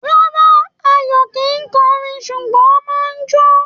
Rárá, Ayọ̀ kìí kọrin, ṣùgbọ́ ó máa ń jo